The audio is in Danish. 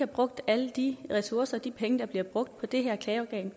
brugt alle de ressourcer og de penge der bliver brugt på det her klageorgan